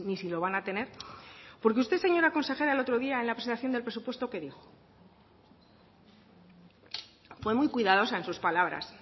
si lo van a tener porque usted señora consejera el otro día en la presentación del presupuesto qué dijo fue muy cuidadosa en sus palabras